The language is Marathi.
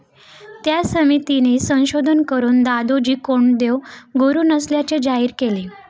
त्या समितीने संशोधन करून दादोजी कोंडदेव गुरु नसल्याचे जाहीर केले.